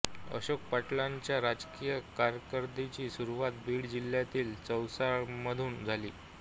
अशोक पाटीलच्या राजकीय कारकीर्दीची सुरूवात बीड जिल्ह्यातील चौसाळामधुन झाली